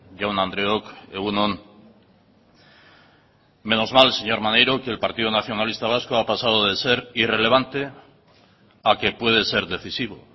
jaun andreok egun on menos mal señor maneiro que el partido nacionalista vasco ha pasado de ser irrelevante a que puede ser decisivo